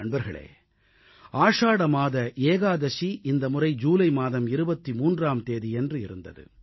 நண்பர்களே ஆடி மாத ஏகாதசி இந்த முறை ஜூலை மாதம் 23ஆம் தேதியன்று இருந்தது